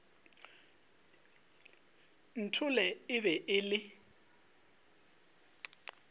nthole e be e le